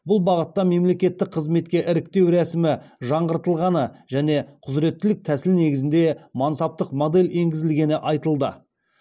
бұл бағытта мемлекеттік қызметке іріктеу рәсімі жаңғыртылғаны және құзыреттілік тәсіл негізінде мансаптық модель енгізілгені айтылды